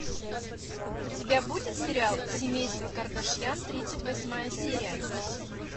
у тебя будет сериал семейство кардашьян тридцать восьмая серия